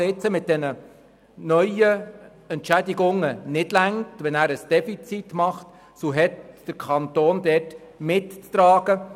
Sollten die neuen Entschädigungen nicht ausreichen und ein Defizit entstehen, so hat der Kanton dieses mitzutragen.